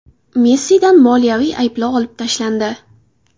Messidan moliyaviy ayblov olib tashlandi.